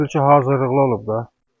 Elə bil ki, hazırlıqlı olub da.